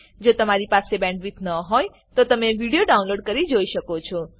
જો તમારી પાસે સારી બેન્ડવિડ્થ ન હોય તો તમે વિડીયો ડાઉનલોડ કરીને જોઈ શકો છો